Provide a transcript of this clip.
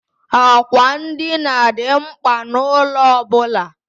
Àkwà ndina dị mkpa n'ụlọ ọ bụla.